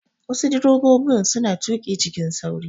Wasu direbobin suna tuƙi cikin sauri.